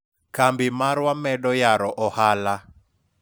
kambi marwa medo yaro ohala